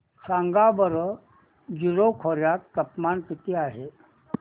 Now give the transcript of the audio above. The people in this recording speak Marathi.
सांगा बरं जीरो खोर्यात तापमान किती आहे